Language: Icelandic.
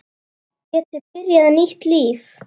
Geti byrjað nýtt líf.